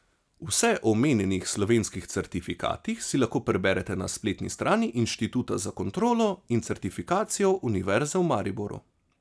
Vse o omenjenih slovenskih certifikatih si lahko preberete na spletni strani Inštituta za kontrolo in certifikacijo Univerze v Mariboru.